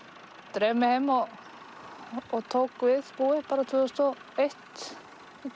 dreif mig heim og tók við búi tvö þúsund og eitt